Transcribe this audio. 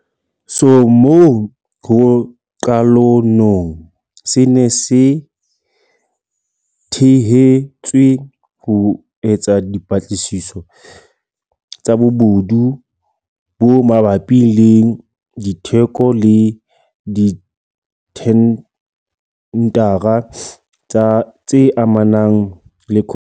Sommo ho qalonong se ne se thehetswe ho etsa dipatlisiso tsa bobodu bo mabapi le ditheko le dithendara tse amanang le COVID.